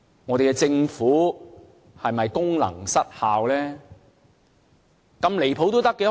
我們的政府是否功能失效呢？